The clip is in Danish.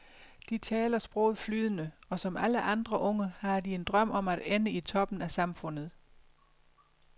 De taler sproget flydende, og som alle andre unge har de en drøm om at ende i toppen af samfundet.